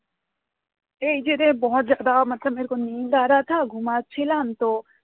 এই যে রে ঘুমাচ্ছিলাম তো